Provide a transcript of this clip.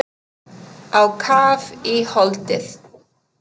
Á kaf í holdið.